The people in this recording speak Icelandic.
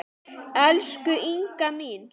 Elsku Inga mín.